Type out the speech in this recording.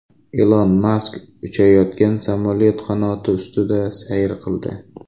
Ilon Mask uchayotgan samolyot qanoti ustida sayr qildi.